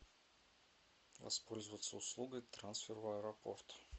воспользоваться услугой трансфер в аэропорт